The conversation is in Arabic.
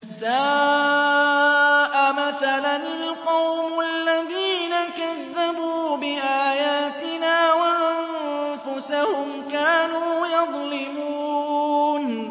سَاءَ مَثَلًا الْقَوْمُ الَّذِينَ كَذَّبُوا بِآيَاتِنَا وَأَنفُسَهُمْ كَانُوا يَظْلِمُونَ